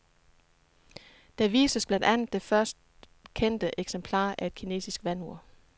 Der vises blandt andet det først kendte eksemplar af et kinesisk vandur.